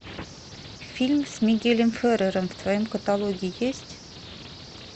фильм с мигелем феррером в твоем каталоге есть